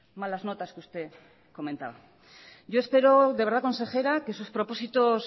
malas notas que usted comentaba yo espero de verdad consejera que sus propósitos